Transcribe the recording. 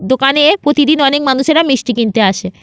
দোকানে প্রতিদিন অনেক মানুষেরা মিষ্টি কিনতে আসে।